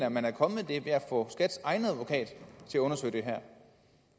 at man er kommet det ved at få skats egen advokat til at undersøge det her